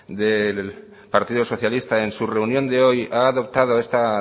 del partido socialista en su reunión de hoy ha adoptado esta